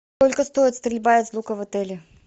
сколько стоит стрельба из лука в отеле